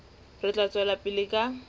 re tla tswela pele ka